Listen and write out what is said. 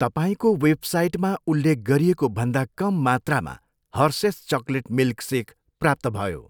तपाईँको वेबसाइटमा उल्लेख गरिएको भन्दा कम मात्रामा हर्सेस चकलेट मिल्क सेक प्राप्त भयो।